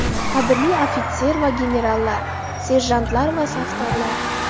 Qadrli ofitser va generallar, serjantlar va safdorlar!